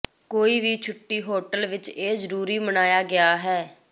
ਕੋਈ ਵੀ ਛੁੱਟੀ ਹੋਟਲ ਵਿਚ ਇਹ ਜ਼ਰੂਰੀ ਮਨਾਇਆ ਗਿਆ ਹੈ